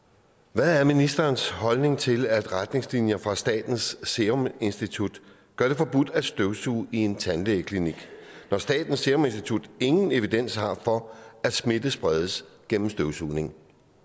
hvad er ministerens holdning til at retningslinjer fra statens serum institut gør det forbudt at støvsuge i en tandlægeklinik når statens serum institut ingen evidens har for at smitte spredes gennem støvsugning